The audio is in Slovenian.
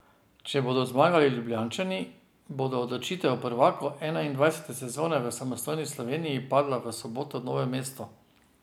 Če bodo zmagali Ljubljančani, bo odločitev o prvaku enaindvajsete sezone v samostojni Sloveniji padla v soboto v Novem mestu.